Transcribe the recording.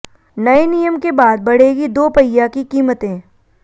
नए नियम के बाद बढ़ेगी दोपहिया की कीमतें